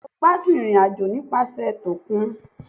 Bẹẹni mo gbadun irin-ajo nipasẹ tokún